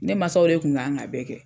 Ne maasaw de kun kan ka bɛɛ kɛ.